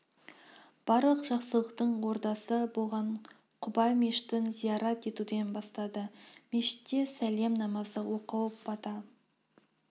барлық жақсылықтың ордасы болған құба мешітін зиярат етуден бастады мешітте сәлем намазы оқылып бата